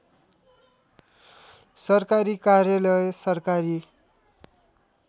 सरकारी कार्यालय सरकारी